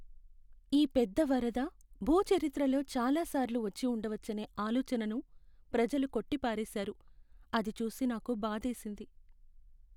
ఈ పెద్ద వరద భూ చరిత్రలో చాలాసార్లు వచ్చి ఉండవచ్చనే ఆలోచనను ప్రజలు కొట్టిపారేశారు. అది చూసి నాకు బాధేసింది.